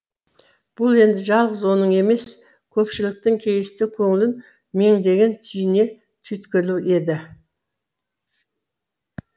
бұл енді жалғыз оның емес көпшіліктің кейісті көңілін меңдеген түйне түйткілі еді